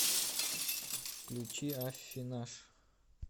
включи аффинаж